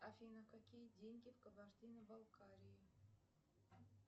афина какие деньги в кабардино балкарии